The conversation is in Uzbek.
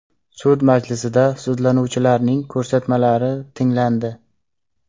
Sud majlisida sudlanuvchilarning ko‘rsatmalari tinglandi.